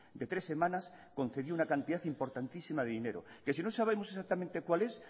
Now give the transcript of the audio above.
de tres semanas concedió una cantidad importantísima de dinero que si no sabemos exactamente cuál es